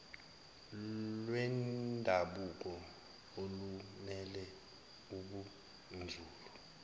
lwendabuko olumele ubunzulu